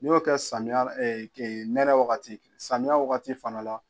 N'i y'o kɛ samiya nɛnɛ wagati samiya wagati fana la.